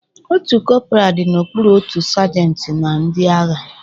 Otu korporal dị n'okpuru otu sajentị na ndị agha